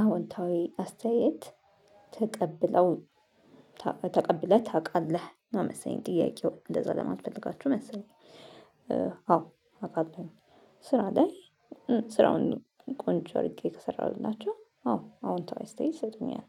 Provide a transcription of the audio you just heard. አዎንታዊ አስተያየት ተቀብለውኝ ተቀብለህ ታውቃለህ ነው መሰለኝ ጥያቄው እንደዛ ለማት ፈልጋችሁ መሰለኝ። አዎ አቃለሁኝ ስራ ላይ። ስራውን ቆንጆ አድርጌ ከሰራሁላቸው አዎ አውንታዊ አስተያዬት ይሰጡኛል።